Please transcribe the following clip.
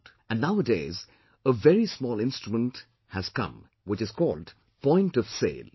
And nowadays a very small instrument has come which is called 'point of sale' P